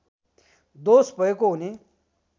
दोष भएको हुने